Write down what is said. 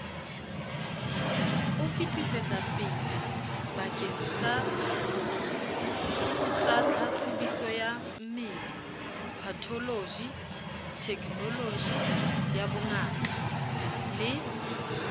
o fetisetsapelebakengsatsatlhahlobisoyammele patholoji thekenolojiyabongaka le